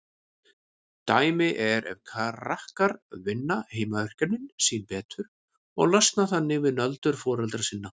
Dæmi er ef krakkar vinna heimaverkefnin sín betur og losna þannig við nöldur foreldra sinna.